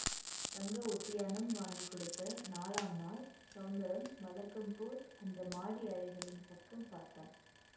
தங்க ஒட்டியாணம் வாங்கி கொடுத்த நாலாம் நாள் ஸௌந்தரம் வழக்கம் போல் அந்த மாடி அறைகளின் பக்கம் பார்த்தான்